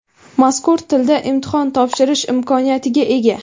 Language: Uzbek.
mazkur tilda imtihon topshirish imkoniyatiga ega.